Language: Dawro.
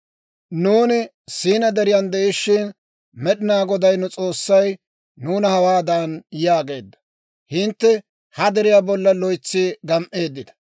«Nuuni Siinaa Deriyan de'ishshin, Med'inaa Goday nu S'oossay nuuna hawaadan yaageedda; ‹Hintte ha deriyaa bollan loytsi gam"eeddita.